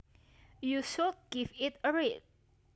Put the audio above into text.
You should give it a read